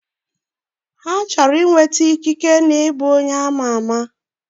Ha chọrọ inweta ikike na ịbụ onye ama ama